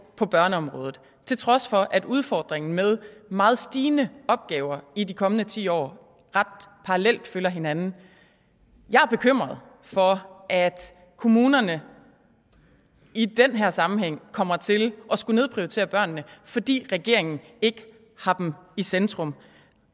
på børneområdet til trods for at udfordringen med meget stigende opgaver i de kommende ti år ret parallel følger hinanden jeg er bekymret for at kommunerne i den her sammenhæng kommer til at skulle nedprioritere børnene fordi regeringen ikke har dem i centrum